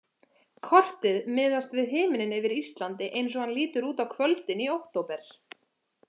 Kortið miðast við himininn yfir Íslandi eins og hann lítur út á kvöldin í október.